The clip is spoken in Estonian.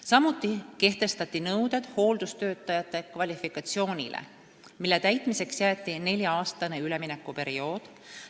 Samuti kehtestati nõuded hooldustöötajate kvalifikatsioonile, mille täitmiseks jäeti nelja-aastane üleminekuperiood.